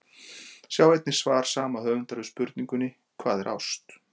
Sjá einnig svar sama höfundar við spurningunni Hvað er ást?